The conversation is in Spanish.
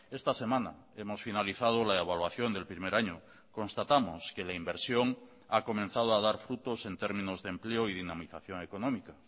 esta semana hemos finalizado la evaluación del primer año constatamos que la inversión ha comenzado a dar frutos en términos de empleo y dinamización económica